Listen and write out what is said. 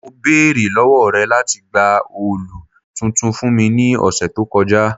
Mo beere lọwọ rẹ lati gba òòlù tuntun fun mi ni ọsẹ to kọja